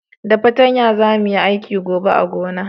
Da patanya za mu yi aiki gobe a gona